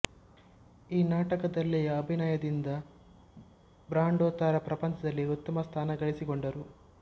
ಈ ನಾಟಕದಲ್ಲಿಯ ಅಭಿನಯದಿಂದ ಬ್ರಾಂಡೊ ತಾರಾ ಪ್ರಪಂಚದಲ್ಲಿ ಉತ್ತಮ ಸ್ಥಾನ ಗಳಿಸಿಕೊಂಡರು